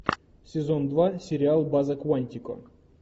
сезон два сериал база куантико